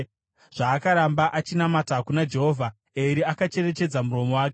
Zvaakaramba achinamata kuna Jehovha, Eri akacherechedza muromo wake.